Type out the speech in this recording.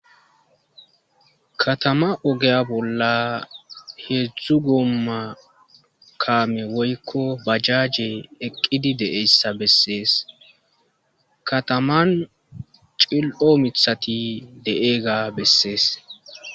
katama ogeya bolla heedzdzu gomma kaame woykko bajaje eqqidi deeyssa bessees kataman cil7o mithati deeega bessees